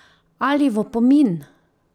Ali v opomin?